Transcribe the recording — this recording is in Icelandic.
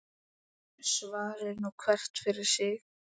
Svari nú hver fyrir sig.